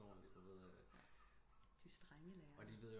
De strænge lærer